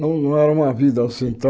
Não não era uma vida assim